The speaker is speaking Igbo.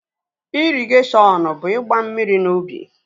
Ịrịgashiọn ọn bụ ịgba mmiri n'ubi